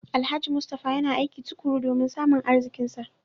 Alhaji Mustapha yana aiki tukuru domin samun arzikinsa